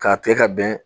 K'a kɛ ka bɛn